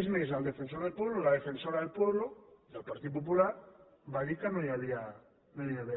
és més el defensor del pueblo o la defensora del pueblopartit popular va dir que no hi havia